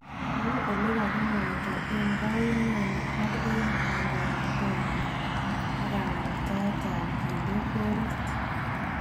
Kou ele kakimwaite eng kayumani ak eng kadoinatet nyin ak kamuktaet ab kinde goalit.